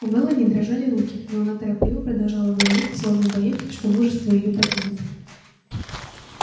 у мелани дрожали руки но она торопливо продолжала говорить словно боясь что мужество её покинет